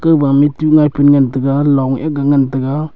kuba me tu ngapun taiga Long aga ngan taga.